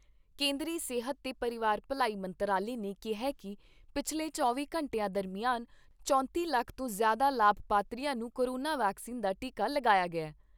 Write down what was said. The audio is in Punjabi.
ਕੇਂਦਰੀ ਸਿਹਤ ਤੇ ਪਰਿਵਾਰ ਭਲਾਈ ਮੰਤਰਾਲੇ ਨੇ ਕਿਹਾ ਕਿ ਪਿਛਲੇ ਚੌਵੀਂ ਘੰਟਿਆਂ ਦਰਮਿਆਨ ਚੌਂਤੀ ਲੱਖ ਤੋਂ ਜ਼ਿਆਦਾ ਲਾਭਪਾਤਰੀਆਂ ਨੂੰ ਕੋਰੋਨਾ ਵੈਕਸੀਨ ਦਾ ਟੀਕਾ ਲਾਇਆ ਗਿਆ।